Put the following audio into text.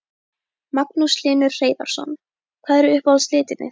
Magnús Hlynur Hreiðarsson: Hvað eru uppáhalds litirnir þínir?